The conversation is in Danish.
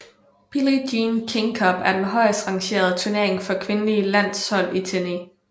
Billie Jean King Cup er den højst rangerende turnering for kvindelige landshold i tennis